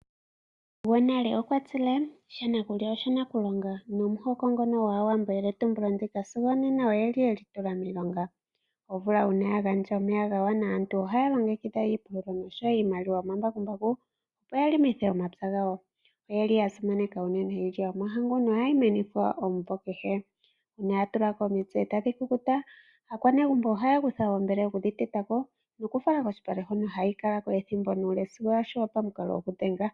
Gwonale okwa tile, "sha na kulya oshana ku longa", nomuhoko ngono gwAawambo eyele tumbulo ndino sigo onena oyeli tula miilonga. Omvula uuna ya gandja omeya yagwana aantu ohaya longekidha iimaliwa yomambakumbaku, opo ya longithe omapya gawo. Oyeli yasimaneka unene iilya yomahangu nohayi kunwa omumvo kehe. Uuna ya tulako omitse tadhi kukuta aakwanegumbo ohaya kutha oombele, opo yekedhiteteko noku yifala kolupale hono hayi kalako sigo ethimbo lyokuyungula taliya.